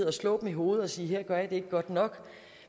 og slå dem i hovedet og sige at det godt nok